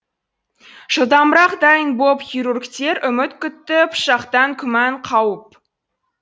жылдамырақ дайын боп хирургтер үміт күтті пышақтан күмән қауіп